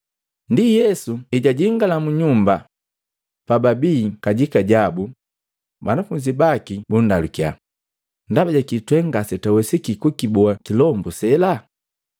Ndi Yesu ejajingala munyumba, pababii kajikajabu banafunzi baki bundalukya, “Ndaba jakii twe ngasetwawesiki kukiboa kilombu sela?”